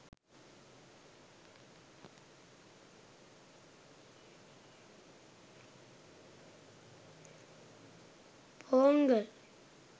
pongal